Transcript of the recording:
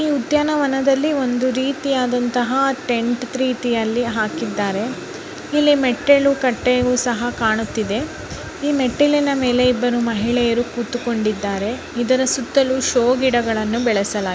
ಈ ಉದ್ಯಾನವನದಲ್ಲಿ ಒಂದು ರೀತಿಯದಂತಹ ಟೆಂಟ್ ರೀತಿಯಲ್ಲಿ ಹಾಕಿದಾರೆ ಇಲ್ಲಿ ಮೆಟ್ಟಲು ಕಟ್ಟೆ ಸಹ ಕಾಣುತಿದ್ದೆ ಈ ಮೆಟ್ಟಲಿನ ಮೇಲೆ ಇಬ್ಬರು ಮಹಿಳೆಯರು ಕೂತುಕೊಂಡು ಇದ್ದರೆ ಇದರ ಸುತ್ತಲೂ ಶೋ ಗಿಡಗಳುನು ಬೆಳಸ--